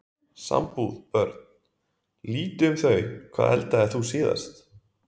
Sambúð Börn: Lítið um þau Hvað eldaðir þú síðast?